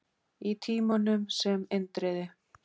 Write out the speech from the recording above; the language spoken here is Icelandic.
Í Tímanum, sem Indriði